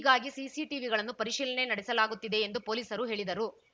ಹೀಗಾಗಿ ಸಿಸಿಟಿವಿಗಳನ್ನು ಪರಿಶೀಲನೆ ನಡೆಸಲಾಗುತ್ತಿದೆ ಎಂದು ಪೊಲೀಸರು ಹೇಳಿದರು